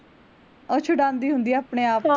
ਓਹ ਛੁਡਾਂਦੀ ਹੁੰਦੀ ਆ ਆਪਣੇ ਆਪ ਤੋਂ